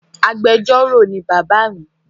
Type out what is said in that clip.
Agbẹjọro ni baba mi